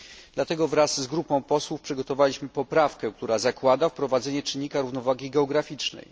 Dlatego wraz z grupą posłów przygotowaliśmy poprawkę, która zakłada wprowadzenie czynnika równowagi geograficznej.